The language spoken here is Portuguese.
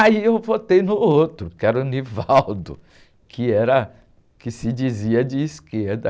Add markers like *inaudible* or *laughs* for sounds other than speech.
Aí eu votei no outro, que era o *unintelligible* *laughs* que era, que se dizia de esquerda.